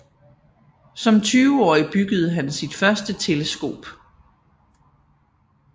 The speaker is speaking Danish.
Som tyveårig byggede han sit første teleskop